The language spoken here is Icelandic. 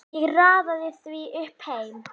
Ég raðaði því upp heima.